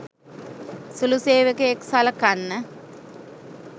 සුළු සේවකයෙක් සලකන්න